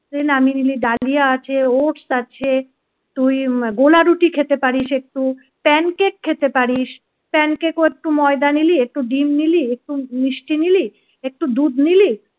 নামিয়ে নিলি ডালিয়া আছে ওটস আছে। তুই গোলা রুটি খেতে পারিস একটু প্যানকেক খেতে পারিস প্যানকেক ও একটু ময়দা নিলি একটু ডিম নিলি একটু মিষ্টি নিলি একটু দুধ নিলি